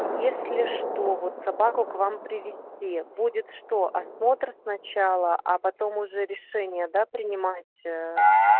если что вот собаку к вам привезти будет что осмотр сначала а потом уже решение да принимать